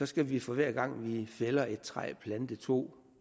skal vi for hver gang vi fælder et træ plante to